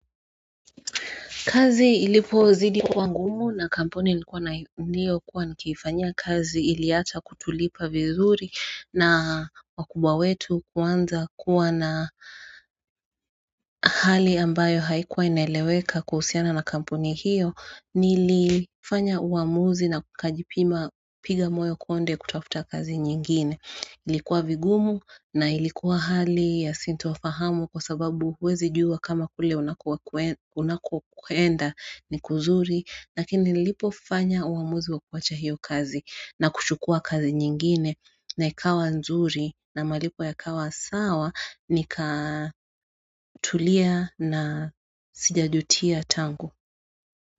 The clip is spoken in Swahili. Kazi ilipozidi kuwa ngumu na kampuni niliokuwa nikiifanyiakazi iliacha kutulipa vizuri na wakubawetu kuanza kuwa na hali ambayo haikuwa inaeleweka kuhusiana na kampuni hiyo nilifanya uamuzi na kajipima piga moyo konde kutafuta kazi nyingine ilikuwa vigumu na ilikuwa hali ya sintofahamu kwasababu uwezi juwa kama kule unako kwenda ni kuzuri lakini nilipofanya uamuzi wa kuacha hiyo kazi na kuchukua kazi nyingine na ikawa nzuri na malipo yakawa sawa nikatulia na sijajutia tangu.